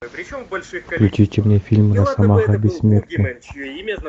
включите мне фильм росомаха бессмертный